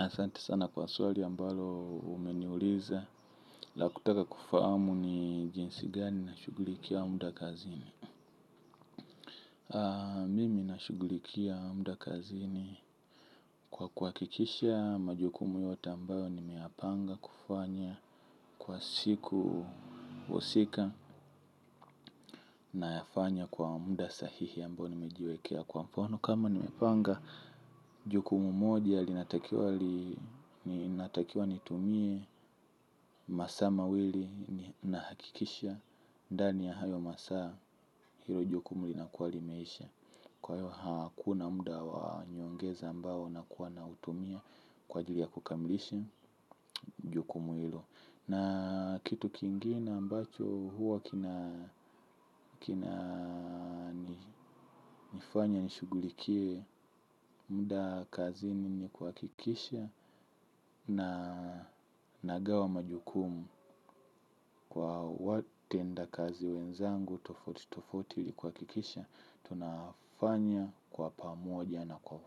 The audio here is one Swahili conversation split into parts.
Asante sana kwa swali ambalo umeniuliza. La kutaka kufahamu ni jinsi gani nashughulikia muda kazini. Mimi nashughulikia muda kazini. Kwa kuhakikisha majukumu yote ambayo nimeyapanga kufanya kwa siku husika nayafanya kwa muda sahihi ambao nimejiwekea. Kwa mfano kama nimepanga jukumu moja linatakiwa nitumie masaa mawili nahakikisha ndani ya hayo masaa hilo jukumu linakuwa limeisha kwa hiyo hakuna muda wa nyongeza ambao nakuwa nautumia kwa ajili ya kukamilisha jukumu na kitu kingine ambacho huwa kina kinani nifanya nishughulikie muda kazini ni kuhakikisha na nagawa majukumu. Kwa watendakazi wenzangu tofauti tofauti ili kuhakikisha tunafanya kwa pamoja na kwa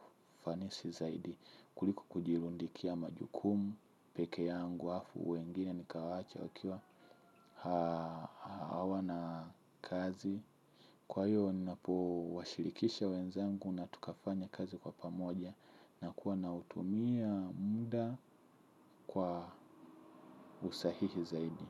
ufanisi zaidi kuliko kujirundikia majukumu peke yangu halafu wengine nikawaacha wakiwa hawa na kazi. Kwa hiyo napowashilikisha wenzangu na tukafanya kazi kwa pamoja na kuwa nautumia muda kwa usahihi zaidi.